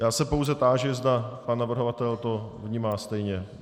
Já se pouze táži, zda pan navrhovatel to vnímá stejně.